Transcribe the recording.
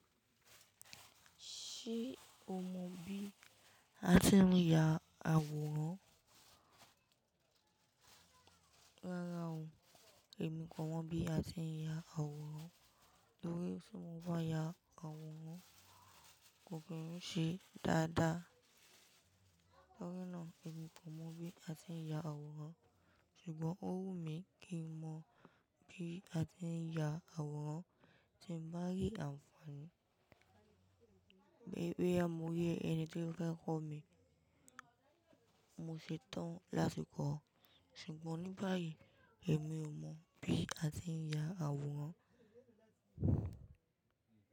Ṣé o mọ bí a tí ń ya àwòrán? Rárá o, èmi kò mọ bí a tí ń ya àwòrán, torí tí mo bá ya àwòrán kò kì ń ṣe dáadáa. Torí náà èmi kò mọ bí a tí ń ya àwòrán ṣùgbọ́n ó wù mí kí n mọ bí a tí ń ya àwòrán tí ń bá rí àǹfààní. Àìmọyé ẹni tó fẹ́ kọ́ mi, mo ṣetán láti kọ́ ọ ṣùgbọ́n ní bá yìí èmi ò mọ̀ bí a tí ń ya àwòrán.